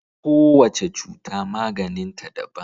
Kowace cuta maganin ta daban